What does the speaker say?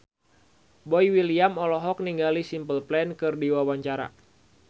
Boy William olohok ningali Simple Plan keur diwawancara